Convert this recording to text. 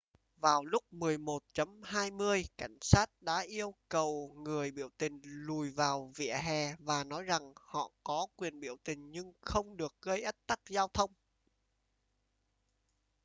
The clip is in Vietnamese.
vào lúc 11:20 cảnh sát đã yêu cầu người biểu tình lùi vào vỉa hè và nói rằng họ có quyền biểu tình nhưng không được gây ách tắc giao thông